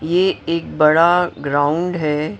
ये एक बड़ा ग्राउंड है।